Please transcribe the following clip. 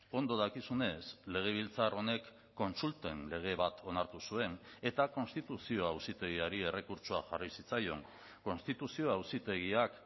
ondo dakizunez legebiltzar honek kontsulten lege bat onartu zuen eta konstituzio auzitegiari errekurtsoa jarri zitzaion konstituzio auzitegiak